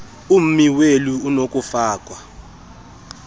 ummi weli onokufakwa